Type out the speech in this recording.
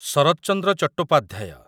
Sarat Chandra Chattopadhyay